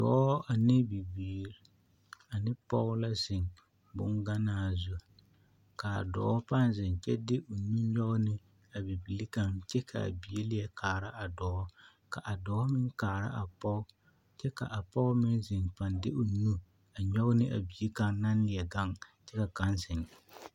Dɔɔ ane bibiiri ane pɔge la zeŋ bogannaa zu ka a dɔɔ paa zeŋ kyɛ de o nu nyɔge ne a bibile kaŋ kyɛ ka a bie kaŋ leɛ kaara a dɔɔ ka a dɔɔ meŋ kaara a pɔge kyɛ ka a pɔge meŋ zeŋ a paa de o nu nyɔgne a bie kaŋ naŋ leɛ gaŋ kyɛ ka kaŋ zeŋ.